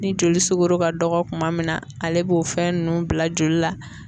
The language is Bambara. Ni joli sugoro ka dɔgɔ kuma min na ale b'o fɛn nunnu bila joli la.